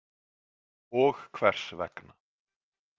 Og hvers vegna?